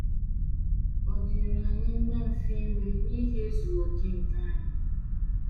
Ọ dịịrị anyị mma mfe iwe n’ihi ezughị okè nke anyị.